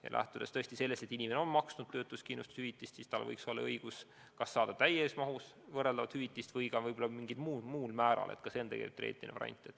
Ja lähtudes sellest, et inimene on maksnud töötuskindlustusmakset, tal võiks olla õigus kas saada täies mahus võrreldavat hüvitist või ka võib-olla mingil muul määral – ka see on teoreetiline variant.